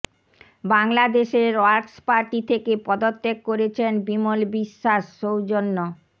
বাংলাদেশের workers party থেকে পদত্যাগ করেছেন বিমল বিশ্বাস সৌজন্য